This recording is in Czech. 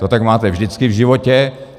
To tak máte vždycky v životě.